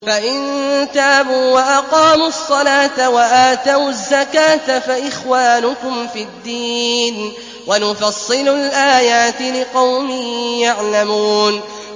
فَإِن تَابُوا وَأَقَامُوا الصَّلَاةَ وَآتَوُا الزَّكَاةَ فَإِخْوَانُكُمْ فِي الدِّينِ ۗ وَنُفَصِّلُ الْآيَاتِ لِقَوْمٍ يَعْلَمُونَ